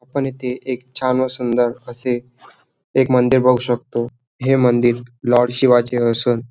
आपण इथे एक छान व सुंदर असे एक मंदिर बघू शकतो हे मंदिर लॉर्ड शिवाचे असून--